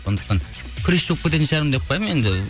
сондықтан күресші болып кететін шығармын деп қоямын енді